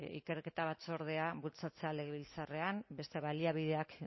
ikerketa batzordea bultzatzea legebiltzarrean beste baliabideak